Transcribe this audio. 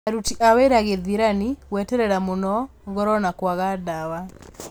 Aruti a wĩra gĩthĩrani, gweterera mũno, goro na kwaga dawa